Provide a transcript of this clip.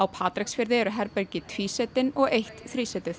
Patreksfirði eru herbergi og eitt